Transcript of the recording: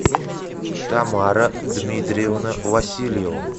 тамара дмитриевна васильева